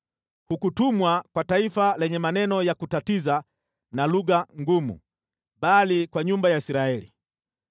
Hukutumwa kwa taifa lenye maneno ya kutatiza na lugha ngumu, bali kwa nyumba ya Israeli.